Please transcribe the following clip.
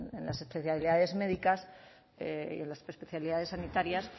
en las especialidades médicas y en las especialidades sanitarias